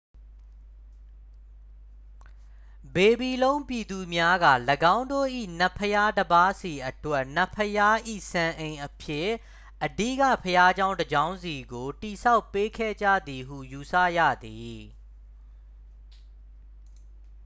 ဘေဘီလုံပြည်သူများက ၎င်းတို့၏ နတ်ဘုရားတစ်ပါးစီအတွက် နတ်ဘုရား၏ စံအိမ်အဖြစ် အဓိကဘုရားကျောင်းတစ်ကျောင်းစီကို တည်ဆောက်ပေးခဲ့ကြသည်ဟု ယူဆရသည်